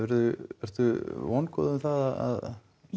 ertu vongóð um það að